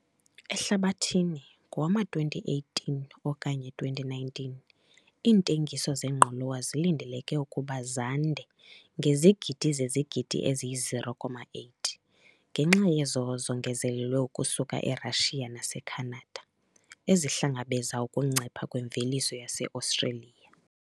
Ehlabathini ngowama-2018 okanye 2019 iintengiso zengqolowa zilindeleke ukuba zande ngezigidi zezigidi eziyi-0,8 ngenxa yezo zongezelelwe ukusuka eRussia naseCanada, ezihlangabeza ukuncipha kwemveliso yaseAustralia.